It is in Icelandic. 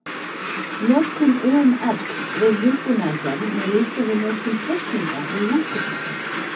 Notkun UML við hugbúnaðargerð má líkja við notkun teikninga við húsbyggingar.